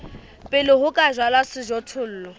pele ho ka jalwa sejothollo